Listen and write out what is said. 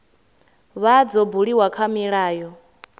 vha dzo buliwa kha milayo